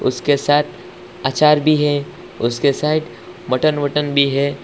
उसके साथ आचार भी है उसके साइड मटन वटन भी है।